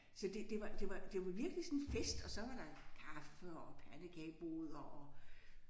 Så det det var det var det var virkelig sådan en fest og så var der kaffe og pandekageboder og